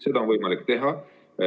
Seda on võimalik teha.